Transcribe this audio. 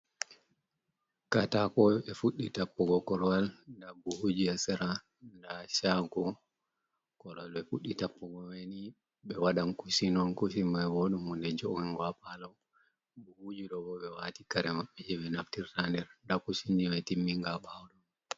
Katako ɓe fuɗɗi tappugo korwal nda buhuji ha sera nda shagu kolwal ɓe fuɗɗi tappugo maini ɓe wadan kushin on kushin mai bo hunde jo'ungo ha palo. Buhuji ɗo bo ɓe wati kare maɓɓe je be naftirta ha nder. Nda kushinji mai timminga ɓawo ɗo.